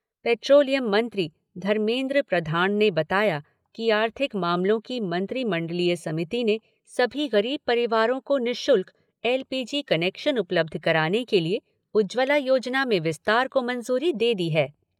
Petroleum मंत्री धर्मेंद्र प्रधाण ने बताया कि आर्थिक मामलों की मंत्रिमंडलीय समिति ने सभी गरीब परिवारों को निशुल्क एल पी जी कनेक्शन उपलब्ध कराने के लिए उज्ज्वला योजना में विस्तार को मंजूरी दे दी है।